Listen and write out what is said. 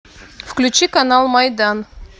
включи канал майдан